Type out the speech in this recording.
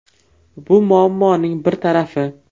Bu muammoning bir tarafi.